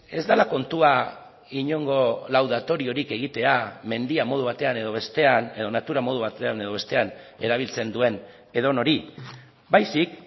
ez dela kontua inongo laudatoriorik egitea mendia modu batean edo bestean edo natura modu batean edo bestean erabiltzen duen edonori baizik